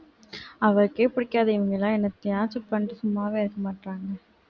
அவருக்கே பிடிக்காது இவுங்களுக்குலாம் என்ன பண்ணிட்டு சும்மாவே இருக்க மாட்டாங்க